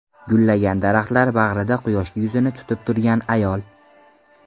Gullagan daraxtlar bag‘rida quyoshga yuzini tutib turgan ayol.